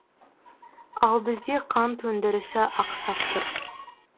ал бізде қант өндірісі ақсап тұр